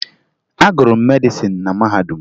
Agụrụ m medịsịn na mahadum